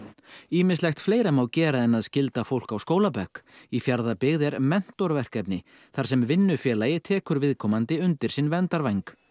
ýmislegt fleira má gera en að skylda fólk á skólabekk í Fjarðabyggð er þar sem vinnufélagi tekur viðkomandi undir sinn verndarvæng